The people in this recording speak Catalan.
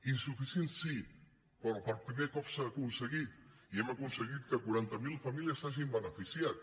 insufi·cient sí però per primer cop s’ha aconseguit i hem aconseguit que quaranta miler famílies se n’hagin benefici·at